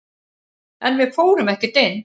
En við fórum ekkert inn.